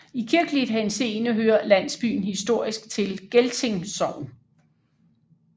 I kirkelig henseende hører landsbyen historisk til Gelting Sogn